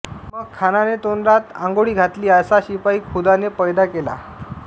मग खानाने तोंडात आंगोळी घातली असा शिपाई खुदाने पैदा केला